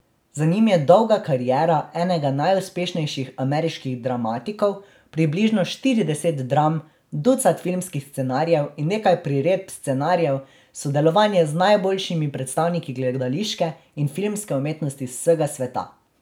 Za njim je dolga kariera enega najuspešnejših ameriških dramatikov, približno štirideset dram, ducat filmskih scenarijev in nekaj priredb scenarijev, sodelovanje z najboljšimi predstavniki gledališke in filmske umetnosti z vsega sveta.